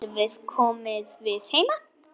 Getum við komið við heima?